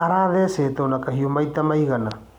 Arathecetwo na kahiũ maita manana